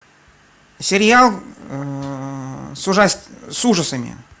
сериал с с ужасами